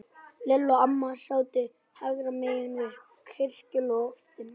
Lilla og amma sátu hægra megin á kirkjuloftinu.